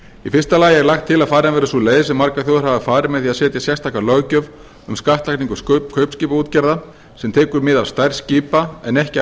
í fyrsta lagi er lagt til að farin verði sú leið sem margar þjóðir hafa farið með því að setja sérstaka löggjöf um skattlagningu kaupskipaútgerða sem tekur mið af stærð skipa en ekki af